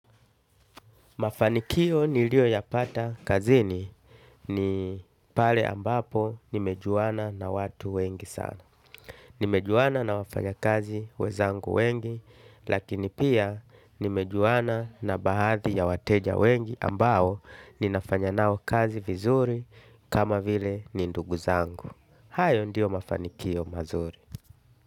Mafanikio niliyoyapata kazini ni pale ambapo nimejuana na watu wengi sana. Nimejuana na wafanyakazi wenzangu wengi lakini pia nimejuana na bahadhi ya wateja wengi ambao ninafanya nao kazi vizuri kama vile ni ndugu zangu. Hayo ndio mafanikio mazuri.